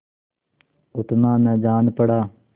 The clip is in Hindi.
उतना न जान पड़ा